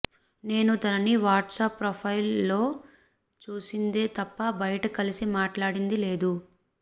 నేను తనని WhatsApp profile లొ చూసిందే తప్ప బయట కలిసి మట్లాడింది లేదు